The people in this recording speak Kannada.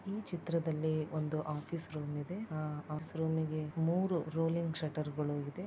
ಈ ಚಿತ್ರದಲ್ಲಿ ಒಂದು ಆಫೀಸ್ ರೂಮ್ ಇದೆ ಆ ಆಫೀಸ್ ರೂಮಿ ಗೆ ಮೂರು ರೋಲಿಂಗ್ ಷಟರ್ಗಳು ಇದೆ.